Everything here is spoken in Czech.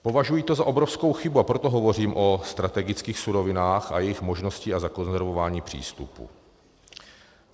Považuji to za obrovskou chybu, a proto hovořím o strategických surovinách a jejich možnosti a zakonzervování přístupu.